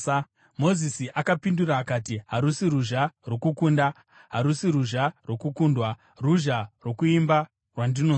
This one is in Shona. Mozisi akapindura akati, “Harusi ruzha rwokukunda, harusi ruzha rwokukundwa; ruzha rwokuimba rwandinonzwa.”